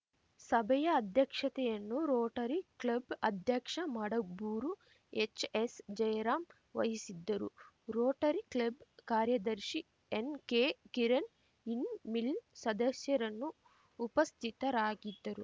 ಸಭೆಯ ಅಧ್ಯಕ್ಷತೆಯನ್ನು Rotary club ಅಧ್ಯಕ್ಷ ಮಡಬೂರು ಎಚ್‌ಎಸ್‌ಜಯರಾಂ ವಹಿಸಿದ್ದರು ರೋಟರಿ ಕ್ಲಬ್‌ ಕಾರ್ಯದರ್ಶಿ ಎನ್‌ಕೆಕಿರಣ್‌ ಇನ್ ಮಿಲ್‌ ಸದಸ್ಯರನ್ನು ಉಪಸ್ಥಿತರಾಗಿದ್ದರು